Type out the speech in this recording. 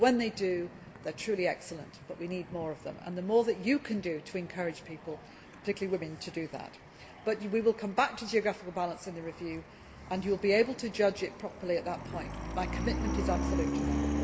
forward. When they do, they are truly excellent but we need more of them. So, if you can do more to encourage people, particularly women, please do so. We will come back to geographical balance in the review. You will be able to judge it properly at that point, but my commitment is absolute